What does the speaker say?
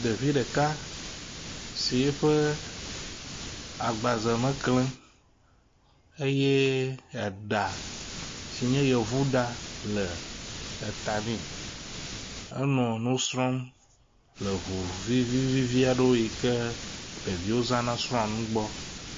Ɖevi ɖeka si eƒe agbaze me kle eye eɖa si nye yevuɖa le eta nɛ. Enɔ nu srɔ̃m le ŋuvi vivivi aɖe yi ke ɖeviwo zãna srɔ̃ nu gbɔ.